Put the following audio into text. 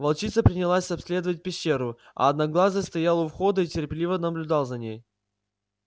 волчица принялась обследовать пещеру а одноглазый стоял у входа и терпеливо наблюдал за ней